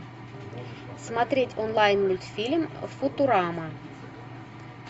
смотреть онлайн мультфильм футурама